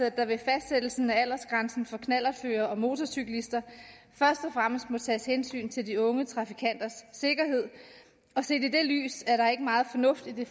at der ved fastsættelsen af aldersgrænsen for knallertførere og motorcyklister først og fremmest må tages hensyn til de unge trafikanters sikkerhed og set i det lys er der ikke meget fornuft i det